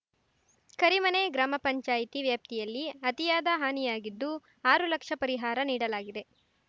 ಕರಿಮನೆ ಗ್ರಾಮ ಪಂಚಾಯ್ತಿ ವ್ಯಾಪ್ತಿಯಲ್ಲಿ ಅತಿಯಾದ ಹಾನಿಯಾಗಿದ್ದು ಆರು ಲಕ್ಷ ಪರಿಹಾರ ನೀಡಲಾಗಿದೆ